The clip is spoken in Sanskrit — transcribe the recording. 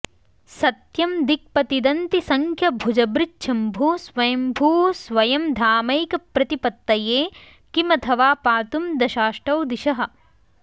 सत्यं दिक्पतिदन्तिसंख्यभुजभृच्छम्भुः स्वय्म्भूः स्वयं धामैकप्रतिपत्तये किमथवा पातुं दशाष्टौ दिशः